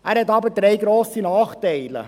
Er hat aber drei grosse Nachteile.